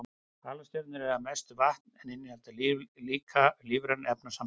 Halastjörnur eru að mestu vatn en innihalda líka lífræn efnasambönd.